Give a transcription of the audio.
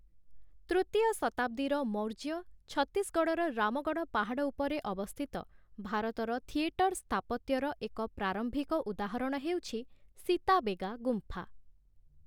ତୃତୀୟ ଶତାବ୍ଦୀର ମୌର୍ଯ୍ୟ ଛତିଶଗଡ଼଼ର ରାମଗଡ଼ ପାହାଡ଼ ଉପରେ ଅବସ୍ଥିତ ଭାରତର ଥିଏଟର ସ୍ଥାପତ୍ୟର ଏକ ପ୍ରାରମ୍ଭିକ ଉଦାହରଣ ହେଉଛି ସୀତାବେଗା ଗୁମ୍ଫା ।